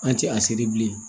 An tɛ a seri bilen